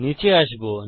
নীচে আসবো